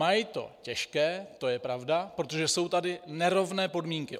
Mají to těžké, to je pravda, protože jsou tady nerovné podmínky.